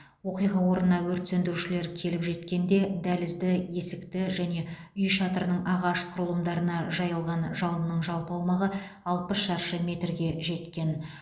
оқиға орнына өрт сөндірушілер келіп жеткенде дәлізді есікті және үй шатырының ағаш құрылымдарына жайылған жалынның жалпы аумағы алпыс шаршы метрге жетті